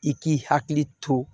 I k'i hakili to